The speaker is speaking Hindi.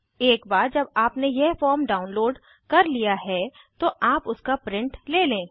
एक बार जब आपने यह फॉर्म डाउनलोड कर लिया है तो आप उसका प्रिंट ले लें